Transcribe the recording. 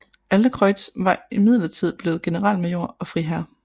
Adlercreutz var imidlertid blevet generalmajor og friherre